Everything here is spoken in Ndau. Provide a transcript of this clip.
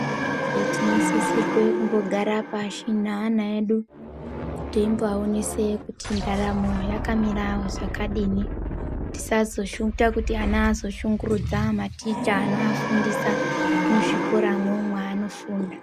Abereki tinosisirwe kumbogara pashi neana edu teimboaonese kuti ndaramo yakamira zvakadini. Tisazoshota kuti ana azoshungurudza maticha anoafundisa muzvikoramo mwaanofunda.